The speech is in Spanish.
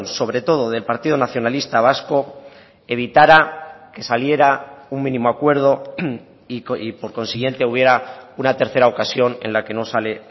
sobre todo del partido nacionalista vasco evitara que saliera un mínimo acuerdo y por consiguiente hubiera una tercera ocasión en la que no sale